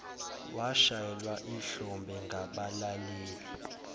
washayelwa ihlombe ngabalaleli